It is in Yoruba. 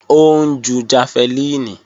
Ó ń ju jafẹlíìnì